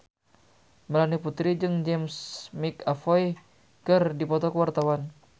Melanie Putri jeung James McAvoy keur dipoto ku wartawan